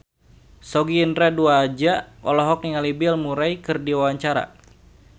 Sogi Indra Duaja olohok ningali Bill Murray keur diwawancara